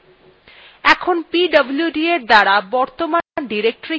এখন pwd commandএর দ্বারা বর্তমান directory কি ত়া দেখে নেওয়া যাক